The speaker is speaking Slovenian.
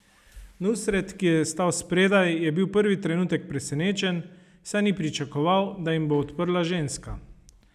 Nusret, ki je stal spredaj, je bil prvi trenutek presenečen, saj ni pričakoval, da jim bo odprla ženska.